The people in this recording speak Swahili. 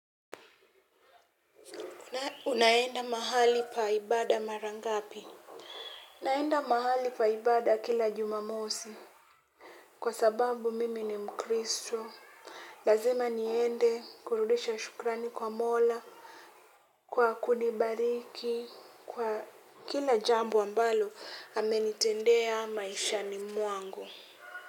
Unaenda mahali pa ibada mara ngapi? Naenda mahali pa ibada kila jumamosi kwa sababu mimi ni mkristo. Lazima niende kurudisha shukrani kwa mola, kwa kunibariki, kwa kila jambo ambalo amenitendea maishani mwangu.